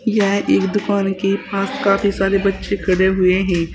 यह एक दुकान के पास काफी सारे बच्चे खड़े हुए हैं।